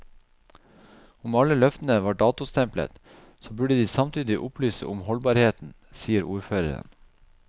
Om alle løftene var datostemplet, så burde de samtidig opplyse om holdbarheten, sier ordføreren.